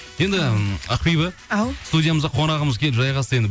енді м ақбибі ау студиямызға қонағымыз келіп жайғасты енді